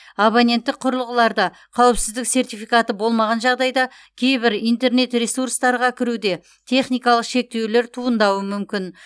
абоненттік құрылғыларда қауіпсіздік сертификаты болмаған жағдайда кейбір интернет ресурстарға кіруде техникалық шектеулер туындауы мүмкін